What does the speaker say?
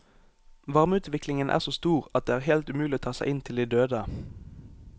Varmeutviklingen er så stor at det er helt umulig å ta seg inn til de døde.